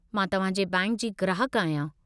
मां तव्हां जे बैंक जी ग्राहकु आहियां।